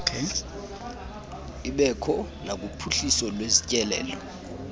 ibekho nakuphuhliso lwezotyelelo